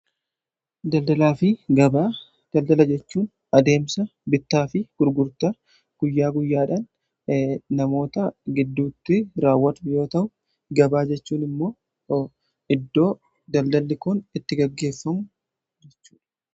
Daldalaa fi gabaa daldalaa jechuun adeemsa bittaa fi gurgurtaa guyyaa guyyaadhaan namoota gidduutti raawwatamu yoota'u; gabaa jechuun immoo iddoo daldalli kun itti gaggeeffamu jechuudha.